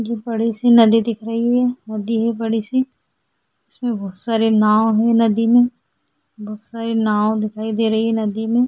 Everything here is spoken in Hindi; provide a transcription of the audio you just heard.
मुझे बड़ी सी नदी दिख रही है नदी है बड़ी सी इसमें बहुत सारी नाव है नदी में बहुत सारी नाव दिखाई दे रही हैं नदी में।